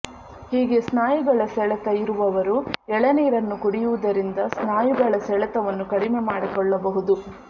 ಹೀಗೆ ಸ್ನಾಯುಗಳ ಸೆಳೆತ ಇರುವವರು ಎಳನೀರನ್ನು ಕುಡಿಯುವುದರಿಂದ ಸ್ನಾಯುಗಳ ಸೆಳೆತವನ್ನು ಕಡಿಮೆ ಮಾಡಿಕೊಳ್ಳಬಹುದು